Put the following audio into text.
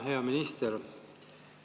Hea minister!